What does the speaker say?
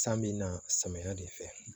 San bi na samiya de fɛ